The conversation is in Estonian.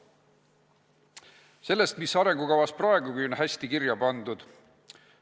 Nüüd aga sellest, mis arengukavas praegugi on hästi kirja pandud.